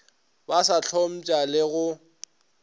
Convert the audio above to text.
ba sa hlompša le go